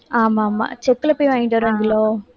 ஆமா, ஆமா, செக்குல போய் வாங்கிட்டு வராங்களோ?